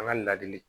An ka ladili